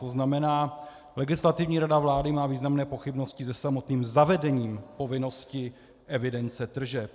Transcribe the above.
To znamená, Legislativní rada vlády má významné pochybnosti se samotným zavedením povinnosti evidence tržeb.